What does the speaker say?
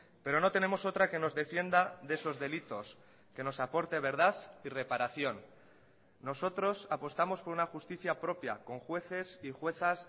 pero no tenemos otra que nos defienda de esos delitos que nos aporte verdad y reparación nosotros apostamos por una justicia propia con jueces y juezas